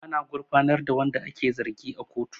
Ana gurfanar da wanda ake zargi a kotu